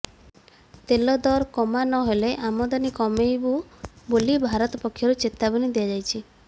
ତେଲ ଦର କମା ନହେଲେ ଆମଦାନୀ କମାଇବୁ ବୋଲି ଭାରତ ପକ୍ଷରୁ ଚେତାବନୀ ଦିଆଯାଇଛି